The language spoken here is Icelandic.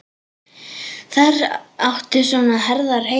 Þar áttu svona herðar heima.